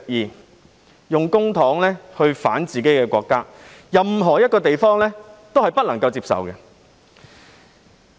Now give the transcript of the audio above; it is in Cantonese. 利用公帑來反自己的國家，任何一個地方都不會接受。